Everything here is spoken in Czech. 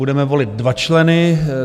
Budeme volit dva členy.